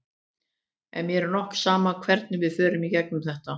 En mér er nokk sama hvernig við fórum í gegnum þetta.